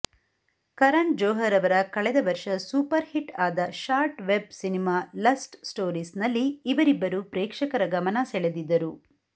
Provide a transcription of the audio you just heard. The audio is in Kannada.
ಕರಣ್ ಜೋಹರ್ ಅವರ ಕಳೆದ ವರ್ಷ ಸೂಪರ್ಹಿಟ್ ಆದ ಶಾರ್ಟ್ ವೆಬ್ ಸಿನಿಮಾ ಲಸ್ಟ್ ಸ್ಟೋರೀಸ್ನಲ್ಲಿ ಇವರಿಬ್ಬರು ಪ್ರೇಕ್ಷಕರ ಗಮನಸೆಳೆದಿದ್ದರು